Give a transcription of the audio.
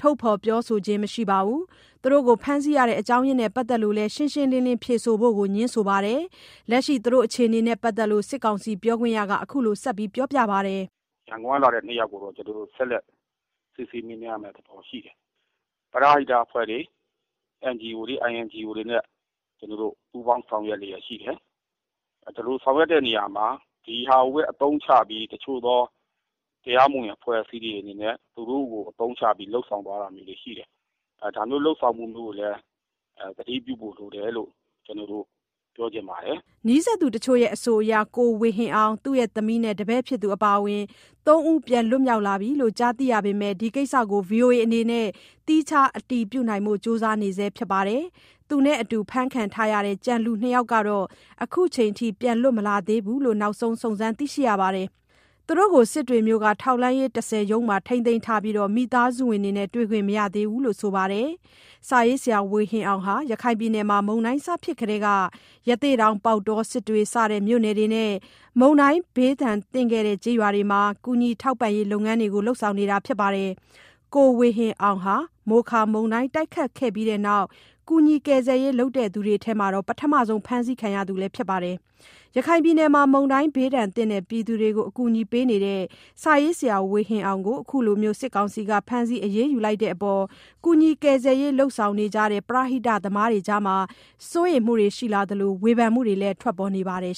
ထုတ်ဖော် ပြောဆိုခြင်း မရှိပါဘူး။ သူတို့ကို ဖမ်းဆီးရတာနဲ့ပတ်သတ်လို့ ရှင်းရှင်းလင်းလင်းဖြေဖို့ကိုလည်း ငြင်းဆိုပါတယ်။ လက်ရှိ သူတို့အခြေအနေတွေနဲ့ပတ်သက်လို့ စစ်ကောင်စီ ပြောခွင့်ရက အခုလို ဆက်ပြောပါတယ်။ “ရန်ကုန်ကလာတဲ့ ၂ယောက်ကိုတော့ ကျနော်တို့ ဆက်လက် စစ်ဆေးမေးမြန်းဖို့ ရှိတယ်။ ကျနော်တို့အနေနဲ့ ပရဟိတ အဖွဲ့တွေ NGO ၊ INGO တွေနဲ့ ပူးပေါင်းလုပ်နေတယ်။ ဆောင်ရွက်နေတာမှာ ဒီဟာကို အသုံးချပြီး တချို့သော တရားမဝင် အဖွဲ့အစည်းအနေနဲ့ သူတို့ကို အသုံးချတာတွေရှိတယ်။ ဒါတွေကို သတိပြုဖို့လိုတယ်လို့ ကျနော် သတိပေးချင်တယ်။” နီးစပ်သူတချို့ရဲ့အဆိုအရ ကိုဝေဟင်အောင်၊ သူ့သမီးနဲ့ တပည့်အပါအဝင် ၃ဦးကို ပြန်လွတ်လာပြီလို့ ကြားသိရပေမယ့် ဒီကိစ္စကို ဗွီအိုအေအနေနဲ့ သီးခြားအတည်ပြုနိုင်ဖို့ ကြိုးစားနေဆဲ ဖြစ်ပါတယ်။ သူနဲ့အတူ ဖမ်းခံထားရတဲ့ ကျန်လူ ၂ယောက်ကတော့ အခုချိန် ပြန်လွတ်မလာသေးဘူးလို့ နောက်ဆုံး စုံစမ်း သိရှိရပါတယ်။ သူတို့ကို စစ်တွေမြို့က ထောက်လှမ်းရေး ၁၀ ရုံးမှာ ထိန်းသိမ်းထားပြီး မိသားစုဝင်တွေနဲ့လည်း တွေ့ခွင့် မရသေးဘူးလို့ ဆိုပါတယ်။ စာရေးဆရာ ဝေဟင်အောင်ဟာ ရခိုင်ပြည်နယ်မှာ မုန်တိုင်းဖြစ်ပြီးကတည်းက ရသေ့တောင်၊ ပေါက်တော၊ စစ်တွေ စတဲ့ မြို့နယ်တွေနဲ့ မုန်တိုင်းဘေးသင့်ခဲ့တဲ့ ကျေးရွာတွေမှာ ကူညီထောက်ပံ့ရေးလုပ်ငန်းတွေ လုပ်ဆောင်နေတာပါ။ ကိုဝေဟင်အောင်ဟာ မိုခါ မုန်တိုင်းတိုက်ခတ်ပြီးနောက် ကူညီကယ်ဆယ်ရေး လုပ်တဲ့သူတွေထဲမှာ ပထမဆုံး ဖမ်းဆီးခံရသူလည်း ဖြစ်ပါတယ်။ ရခိုင်ပြည်နယ်မှာ မုန်တိုင်းသင့်ပြည်သူတွေကို အကူအညီပေးနေတဲ့ စာရေးဆရာ ဝေဟင်အောင်ကို အခုလို ဖမ်းဆီးခံရတဲ့အတွက် ကူညီ ကယ်ဆယ်ရေး လုပ်ဆောင်နေကြတဲ့ ပရဟိတသမားတွေအကြားမှာ စိုးရိမ်စိတ်တွေ ရှိလာသလို ဝေဖန်မှုတွေလည်း ထွက်ပေါ်နေပါတယ်